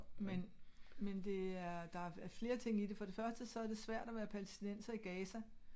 Men men det er der er flere ting i det for det første så er det svært at være palæstinenser i Gaza